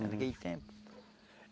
Naquele tempo.